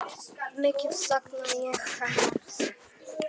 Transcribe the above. Mikið sakna ég hennar sárt.